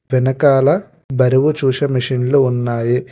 వెనకాల బరువు చూసి మిషిన్లు ఉన్నాయి.